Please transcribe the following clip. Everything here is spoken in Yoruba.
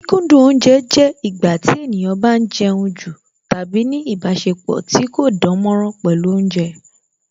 Kí kókúndù oúnje jẹ́ ìgbà tí ènìyàn bá ń jẹun jù tàbí ní ìbáṣepọ̀ tí kò dánmọ́nrán pẹ̀lú Oúnjẹ